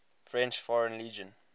french foreign legion